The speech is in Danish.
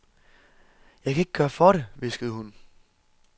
Jeg kan ikke gøre for det, hviskede hun.